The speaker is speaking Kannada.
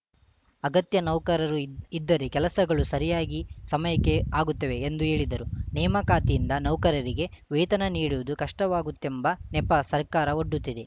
ಅಗತ್ಯ ನೌಕರರು ಇದ್ದರೆ ಕೆಲಸಗಳು ಸರಿಯಾಗಿ ಸಮಯಕ್ಕೆ ಆಗುತ್ತವೆ ಎಂದು ಹೇಳಿದರು ನೇಮಕಾತಿಯಿಂದ ನೌಕರರಿಗೆ ವೇತನ ನೀಡುವುದು ಕಷ್ಟವಾಗುತ್ತೆಂಬ ನೆಪ ಸರ್ಕಾರ ಒಡ್ಡುತ್ತಿದೆ